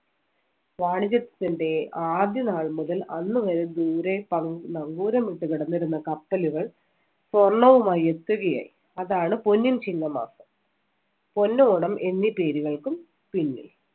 വാണിജ്യത്തിന്‍റെ ആദ്യ നാൾ മുതൽ അന്നുവരെ ദൂരെ ന~നങ്കൂരമിട്ട് കിടന്നിരുന്ന കപ്പലുകൾ സ്വർണ്ണവുമായി എത്തുകയായി അതാണ് പൊന്നിൻ ചിങ്ങമാസം. പൊന്നോണം എന്നീ പേരുകൾക്കും പിന്നിൽ